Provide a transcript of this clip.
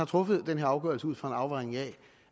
truffet den her afgørelse ud fra